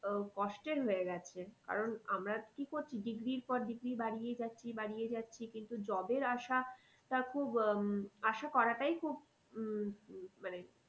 উম কষ্টের হয়ে গেছে। কারণ আমরা কি করছি degree পর degree বারিয়েই যাচ্ছি, বারিয়েই যাচ্ছি কিন্তু job এর আশাটা খুব উম আশা করাটাই খুব উম মানে